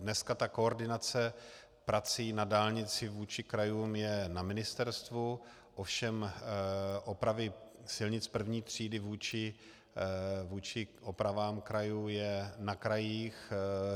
Dneska ta koordinace prací na dálnici vůči krajům je na ministerstvu, ovšem opravy silnic první třídy vůči opravám krajů je na krajích.